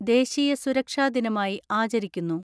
ദേശീയ സുരക്ഷാദിനമായി ആചരിക്കുന്നു.